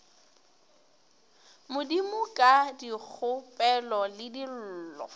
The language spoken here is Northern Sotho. modimo ka dikgopelo le dillo